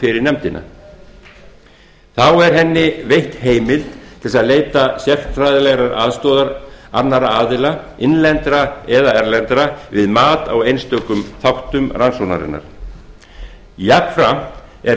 fyrir nefndina þá er henni veitt heimild til að leita sérfræðilegrar aðstoðar annarra aðila innlendra eða erlendra við mat á einstökum þáttum rannsóknarinnar jafnframt er